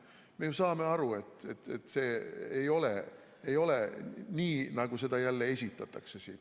Me saame aru, et see ei ole nii, nagu seda jälle esitatakse.